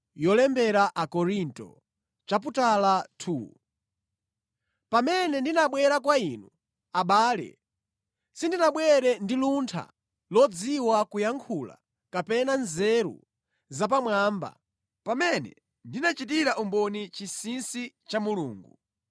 Pamene ndinabwera kwa inu, abale, sindinabwere ndi luntha lodziwa kuyankhula kapena nzeru zapamwamba pamene ndinachitira umboni chinsinsi cha Mulungu.